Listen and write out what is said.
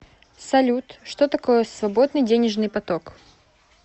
салют что такое свободный денежный поток